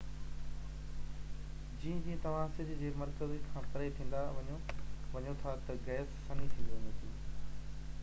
جيئن جيئن توهان سج جي مرڪز کان پري ٿيندا وڃو ٿا ته گئس سنهي ٿيندي وڃي ٿي